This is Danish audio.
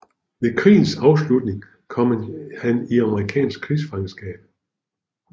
Ved krigens afslutning kom han i amerikansk krigsfangenskab